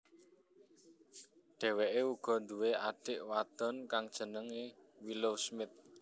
Dheweke uga duwé adik wadon kang jenenge Willow Smith